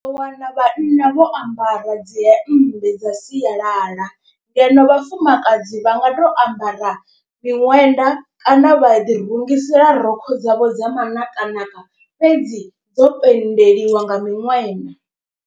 U ḓo wana vhanna vho ambara dzi hemmbe dza sialala. Ngeno vhafumakadzi vha nga to ambara miṅwenda kana vha ḓi rungisela rokho dzavho dza manakanaka fhedzi dzo pendeliwa nga miṅwenda.